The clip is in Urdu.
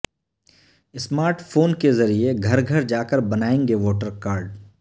ا سمارٹ فون کے ذریعہ گھر گھر جاکربنائیں گے ووٹر کارڈ